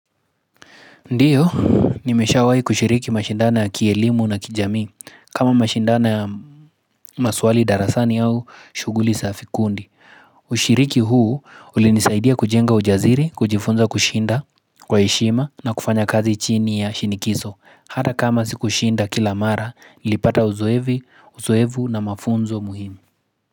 Ndiyo, nimeshawai kushiriki mashindano ya kielimu na kijamii kama mashindano ya maswali darasani au shughuli za vikundi. Ushiriki huu ulinisaidia kujenga ujasiri, kujifunza kushinda, kwa heshima na kufanya kazi chini ya shinikizo. Hata kama sikushinda kila mara, nilipata uzoevi, uzoevu na mafunzo muhimu.